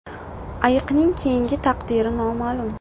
Ayiqning keyingi taqdiri noma’lum.